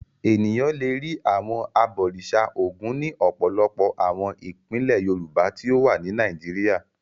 Ènìyàn le rí àwọn abọ̀rìṣà Ògún ní ọ̀pọ̀lọpọ̀ àwọn ìpínlẹ̀ Yorùbá tí ó wà ní Nàìjíríà.